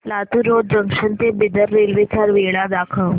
Latur road junction ते Bidar railway च्या वेळा दाखव